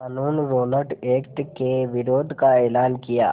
क़ानून Rowlatt Act के विरोध का एलान किया